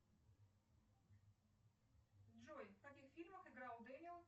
джой в каких фильмах играл дэниел